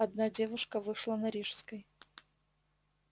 одна девушка вышла на рижской